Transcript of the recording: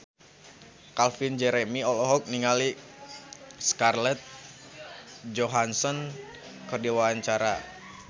Calvin Jeremy olohok ningali Scarlett Johansson keur diwawancara